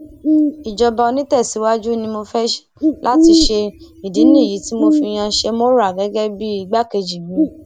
ìjọba onítẹsíwájú ni mo fẹ láti ṣe ìdí nìyí tí mo fi yan shemora gẹgẹ bíi igbákejì mi